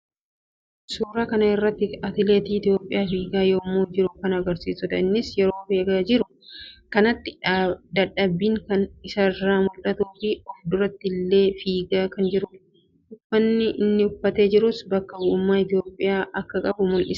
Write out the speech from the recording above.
Suuraa kana irratti atileetii Itoophiyaa fiigaa yammuu jiru kan agarsiisuudha. Innis yeroo fiigaa jiru kanatti dadhabbiin kan isarraa mul'atuu fi of duratti ilaalee fiigaa kan jiruudha. Uffanni inni uffatee jirus bakka bu'ummaa Itoophiyaa akka qabu mul'isa.